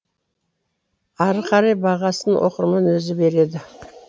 ары қарай бағасын оқырман өзі береді